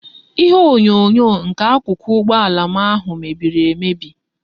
Ihe onyonyo nke akuku ugbo ala m ahu mebiri emebi